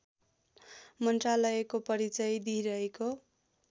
मन्त्रालयको परिचय दिइरहेको